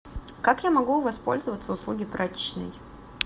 как я могу воспользоваться услуги прачечной